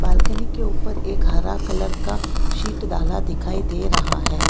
Balcony के ऊपर एक हरा कलर का सीट डाला दिखाई दे रहा है।